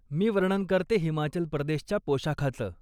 मी वर्णन करते हिमाचल प्रदेशच्या पोशाखाचं.